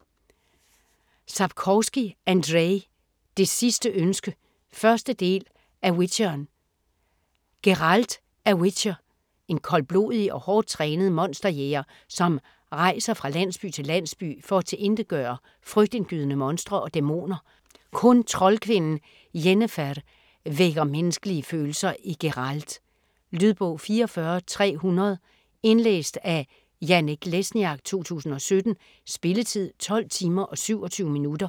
Sapkowski, Andrzej: Det sidste ønske 1. del af Witcheren. Geralt er witcher. En koldblodig og hårdt trænet monsterjæger, som rejser fra landsby til landsby, for at tilintetgøre frygtindgydende monstre og dæmoner. Kun troldkvinden Yennefer vækker menneskelige følelser i Geralt. Lydbog 44300 Indlæst af Janek Lesniak, 2017. Spilletid: 12 timer, 27 minutter.